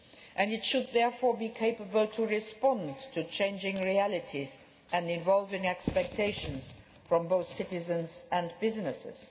years. And it should therefore be capable of responding to changing realities and evolving expectations from both citizens and businesses.